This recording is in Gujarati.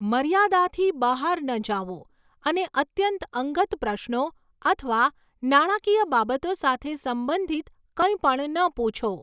મર્યાદાથી બહાર ન જાઓ અને અત્યંત અંગત પ્રશ્નો અથવા નાણાકીય બાબતો સાથે સંબંધિત કંઈપણ ન પૂછો.